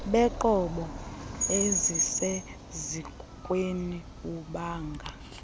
beenqobo ezisesikweni bubanga